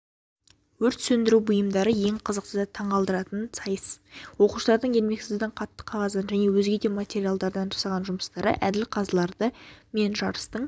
өрт сөндіру бұйымдары ең қызықты да таңқалдыратын сайыс оқушылардың ермексаздан қатты қағаздан және өзге де материалдардан жасаған жұмыстары әділ қазыларды мен жарыстың